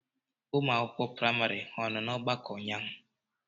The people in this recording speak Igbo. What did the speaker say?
Ụmụ akwụkwọ praịmari ha nọ na mgbakọ ụnyaahụ?